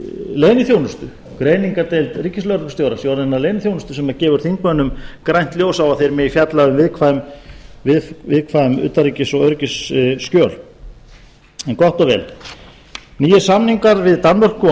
leyniþjónustu greiningardeild ríkislögreglustjóra sé orðin að leyniþjónustu sem gefur þingmönnum grænt ljós á að þeir megi fjalla um viðkvæm utanríkis og öryggisskjöl en gott og vel nýir samningar við danmörku og